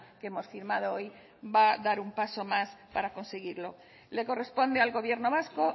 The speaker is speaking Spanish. que hemos firmado hoy va a dar un paso más para conseguirlo le corresponde al gobierno vasco